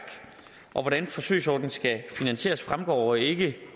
hvordan forsøgsordningen skal finansieres fremgår ikke